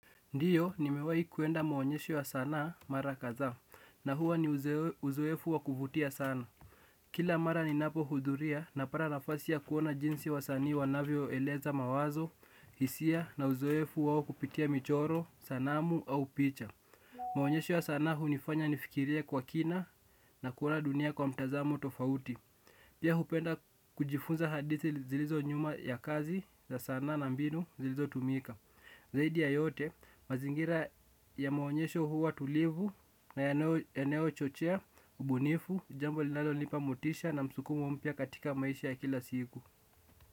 Ndiyo nimewai kuenda maonyesho wa sanaa mara kadhaa na huwa ni uzoefu wa kuvutia sana. Kila mara ninapo hudhuria napata nafasi ya kuona jinsi wasanii wanavyoeleza mawazo, hisia na uzoefu wao kupitia michoro, sanamu au picha. Maonyesho ya sanaa hunifanya nifikirie kwa kina na kuona dunia kwa mtazamo tofauti. Pia hupenda kujifunza hadithi zilizo nyuma ya kazi za sanaa na mbinu zilizotumika. Zaidi ya yote, mazingira ya maonyesho huwa tulivu na yanayochochea, ubunifu, jambo linalonipa motisha na msukumo mpya katika maisha ya kila siku.